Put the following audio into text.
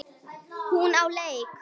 Hún á leik.